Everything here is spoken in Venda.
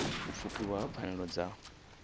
u pfukiwa ha pfanelo dza